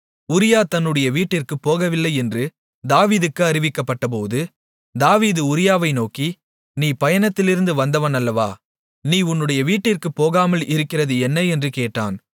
உரியா தன்னுடைய வீட்டிற்குப் போகவில்லையென்று தாவீதுக்கு அறிவிக்கப்பட்டபோது தாவீது உரியாவை நோக்கி நீ பயணத்திலிருந்து வந்தவன் அல்லவா நீ உன்னுடைய வீட்டிற்குப் போகாமல் இருக்கிறது என்ன என்று கேட்டான்